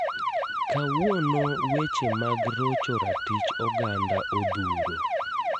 Kawuono weche mag rocho ratich oganda odhuro.